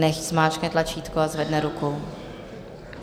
Nechť zmáčkne tlačítko a zvedne ruku.